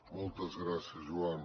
moltes gràcies joan